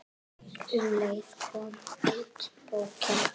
Um leið kom út bókin